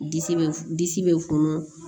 Disi bɛ funu disi bɛ funu